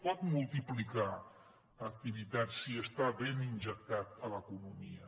pot multiplicar activitat si està ben injectat a l’economia